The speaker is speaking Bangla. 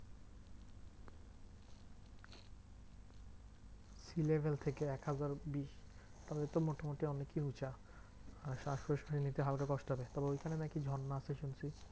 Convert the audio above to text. Sea level থেকে একহাজার বিশ? তাহলে তো মোটামুটি অনেকেই উঁচা আর শ্বাসকষ্ট নিতে হালকা কষ্ট আছে। তবে ঐখানে নাকি ঝর্ণা আছে শুনছি?